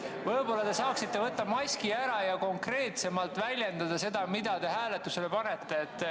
Võib-olla te saaksite võtta maski ära ja konkreetsemalt väljendada, mida te hääletusele panete.